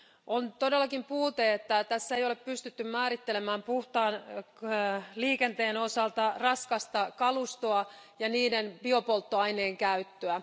On todellakin puute, että tässä ei ole pystytty määrittelemään puhtaan liikenteen osalta raskasta kalustoa ja niiden biopolttoaineen käyttöä.